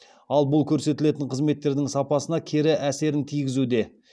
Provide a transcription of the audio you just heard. ал бұл көрсетілетін қызметтердің сапасына кері әсерін тигізуде